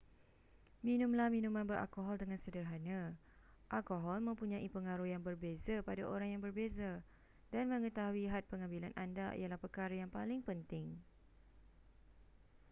minumlah minuman beralkohol dengan sederhana alkohol mempunyai pengaruh yang berbeza pada orang yang berbeza dan mengetahui had pengambilan anda ialah perkara yang paling penting